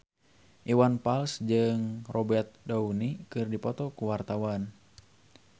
Iwan Fals jeung Robert Downey keur dipoto ku wartawan